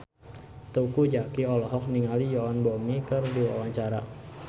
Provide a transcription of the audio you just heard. Teuku Zacky olohok ningali Yoon Bomi keur diwawancara